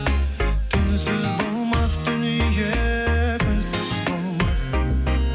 түнсіз болмас дүние күнсіз болмас